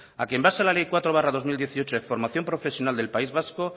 a que en base a la ley cuatro barra dos mil dieciocho de formación profesional del país vasco